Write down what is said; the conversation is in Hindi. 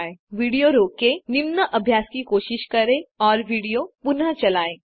अब यहाँ विडियो रोकें निम्न अभ्यास की कोशिश करें और विडियो पुनः चलायें